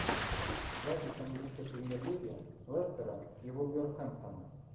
запись английской премьер лиги лестера и вулверхэмптона